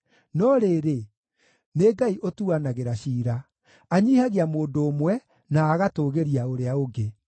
No rĩrĩ, nĩ Ngai ũtuanagĩra ciira: Anyiihagia mũndũ ũmwe, na agatũũgĩria ũrĩa ũngĩ.